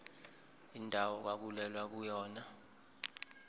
indawo okwakulwelwa kuyona